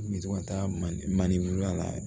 N bɛ to ka taa manden mane wurula ye